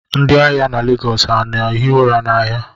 Ndị ahịa na Lagos ha na-ehi ụra n'ahịa